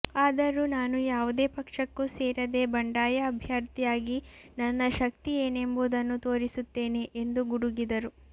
ಆದರೂ ನಾನು ಯಾವುದೇ ಪಕ್ಷಕ್ಕೂ ಸೇರದೆ ಬಂಡಾಯ ಅಭ್ಯರ್ಥಿಯಾಗಿ ನನ್ನ ಶಕ್ತಿ ಏನೆಂಬುದನ್ನು ತೋರಿಸುತ್ತೇನೆ ಎಂದು ಗುಡುಗಿದರು